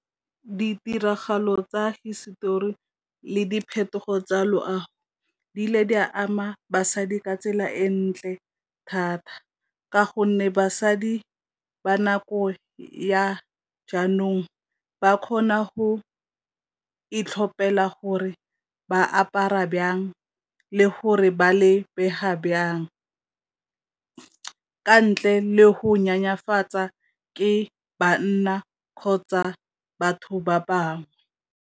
Ditiragalo tsa hisetori le diphetogo tsa loago di ile di a ama basadi ka tsela e ntle thata, ka gonne basadi ba nako ya jaanong ba kgona go itlhopela gore ba apara le gore ba le bega , ka ntle le go nyenyefatswa ke banna kgotsa batho ba bangwe.